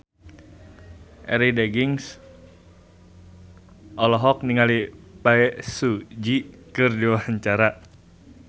Arie Daginks olohok ningali Bae Su Ji keur diwawancara